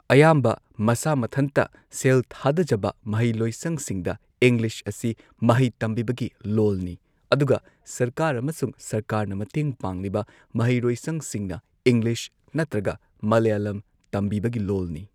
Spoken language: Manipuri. ꯑꯌꯥꯝꯕ ꯃꯁꯥ ꯃꯊꯟꯇ ꯁꯦꯜ ꯊꯥꯗꯖꯕ ꯃꯍꯩꯂꯣꯏꯁꯪꯁꯤꯡꯗ ꯏꯪꯂꯤꯁ ꯑꯁꯤ ꯃꯍꯩ ꯇꯝꯕꯤꯕꯒꯤ ꯂꯣꯜꯅꯤ, ꯑꯗꯨꯒ ꯁꯔꯀꯥꯔ ꯑꯃꯁꯨꯡ ꯁꯔꯀꯥꯔꯅ ꯃꯇꯦꯡ ꯄꯥꯡꯂꯤꯕ ꯃꯍꯩꯂꯣꯏꯁꯪꯁꯤꯡꯅ ꯏꯪꯂꯤꯁ ꯅꯠꯇ꯭ꯔꯒ ꯃꯂꯌꯥꯂꯝ ꯇꯝꯕꯤꯕꯒꯤ ꯂꯣꯜꯅꯤ꯫